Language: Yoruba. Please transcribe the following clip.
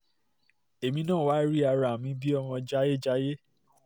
èmi náà wáá rí ara mi bíi ọmọ jayéjayé